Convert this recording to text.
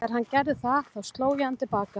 Þegar hann gerði það þá sló ég hann til baka.